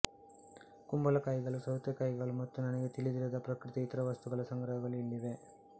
ಕುಂಬಳಕಾಯಿಗಳು ಸೌತೆಕಾಯಿಗಳು ಮತ್ತು ನನಗೆ ತಿಳಿದಿರದ ಪ್ರಕೃತಿಯ ಇತರ ವಸ್ತುಗಳ ಸಂಗ್ರಹಗಳು ಇಲ್ಲಿವೆ